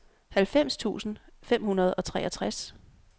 halvfems tusind fem hundrede og treogtres